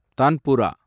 tanpura